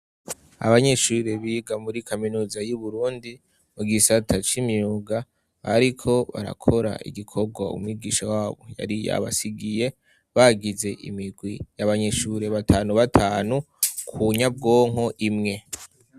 Abanyeshurre biga muri kaminuza y'Uburundi ,mu gisata c'imyuga ariko barakora igikobwa umwigisha wabo yari yabasigiye, bagize imigwi y'abanyeshure batanu batanu ku nyabwonko imwe.